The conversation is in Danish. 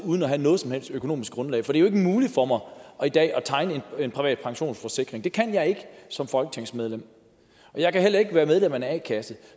uden at have noget som helst økonomisk grundlag fordi jo er muligt for mig i dag at tegne en privat pensionsforsikring det kan jeg ikke som folketingsmedlem og jeg kan heller ikke være medlem af en a kasse